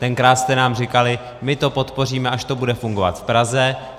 Tenkrát jste nám říkali: my to podpoříme, až to bude fungovat v Praze.